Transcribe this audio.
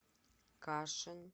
кашин